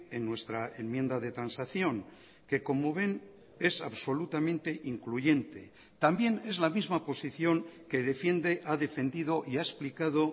en nuestra enmienda de transacción que como ven es absolutamente incluyente también es la misma posición que defiende ha defendido y ha explicado